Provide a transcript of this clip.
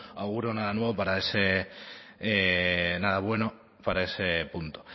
auguro nada bueno para ese punto